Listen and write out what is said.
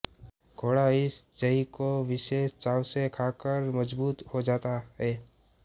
घोड़ा इस जई को विशेष चाव से खा कर मजबूत हो जाता है